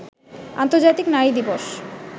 অন্তর্জাতিক নারী দিবস